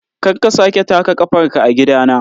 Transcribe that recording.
Kar ka sake taka kafarka a gidana!